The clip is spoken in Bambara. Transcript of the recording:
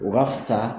U ka fisa